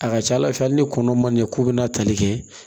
A ka ca ala fɛ hali ni kɔnɔ ma ɲɛ k'u bɛna tali kɛ